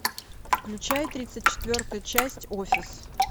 включай тридцать четвертую часть офис